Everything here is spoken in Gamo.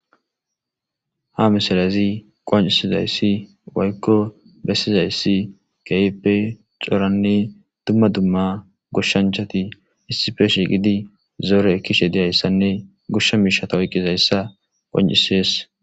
Ha misilezii qonccisizayssi woykko bessizayssi keehippe coranne dumma dumma gooshshanchchatti issippe shiiqqidi zoore ekishe diyayssanne gooshsha miishshata oykizaysaa qoncises